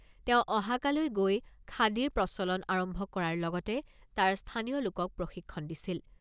তেওঁ অহাকালৈ গৈ খাদীৰ প্ৰচলন আৰম্ভ কৰাৰ লগতে তাৰ স্থানীয় লোকক প্ৰশিক্ষণ দিছিল।